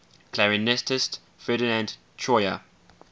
clarinetist ferdinand troyer